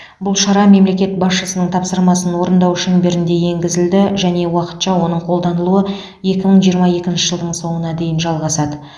бұл шара мемлекет басшысының тапсырмасын орындау шеңберінде енгізілді және уақытша оның қолданылуы екі мың жиырма екінші жылдың соңына дейін жалғасады